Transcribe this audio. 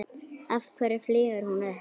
Af hverju flýgur hún upp?